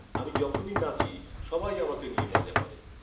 আমি যখনই নাচি, সবাই আমাকে নিয়ে মজা করে।